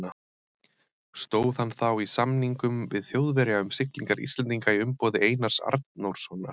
Stóð hann þá í samningum við Þjóðverja um siglingar Íslendinga í umboði Einars Arnórssonar.